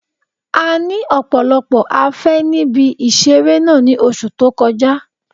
A ní ọ̀pọ̀lọpọ̀ afé níbi ìseré náà ní oṣù tó kọjá